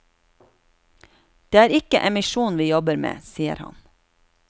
Det er ikke emisjon vi jobber med, sier han.